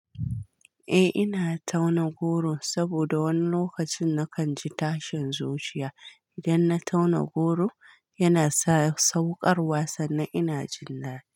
Eh ina tauna goro saboda wani lokacin nakan ji tashin zuciya. Idan na tauna goro yana sa sauƙar wa sannan ina jin daɗi.